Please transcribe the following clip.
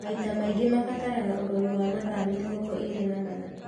Maita maingĩ mabataraga ũrori wa mathaa mĩrongo ĩrĩ na mana